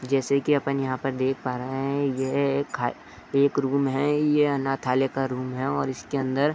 जैसे कि अपन यहाँ पे देख पा रहे हैं कि यह एक खा रूम है यह अनाथालय का रूम है और इसके अंदर --